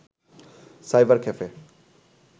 cyber cafe